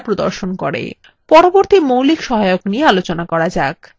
পরবর্তী মৌলিক সহায়ক নিয়ে আলোচনা করা যাক এলাইন toolbar